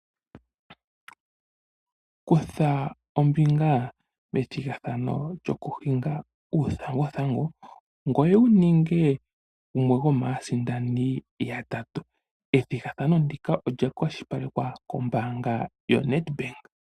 Kutha ombinga methigathano lyokuhinga uuthanguthangu, ngoye wu ninge gumwe gomaasindani yatatu. Ethigathano ndika olya kwashilipalekwa kombaanga yaNedbank.